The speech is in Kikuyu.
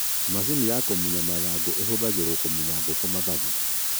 Macini ya kũmunya mathagu: Ihũthagĩrwo kũmunya ngũkũ mathagu